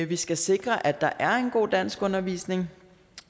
vi skal sikre at der er en god danskundervisning